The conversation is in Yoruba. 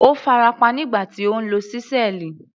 Ó farapa nígbà tí ó ń lo ṣísẹ́ẹ̀lì.